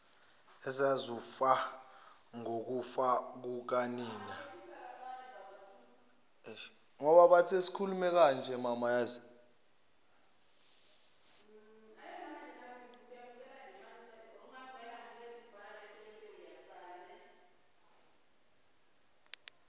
ezazizofa ngokufa kukanina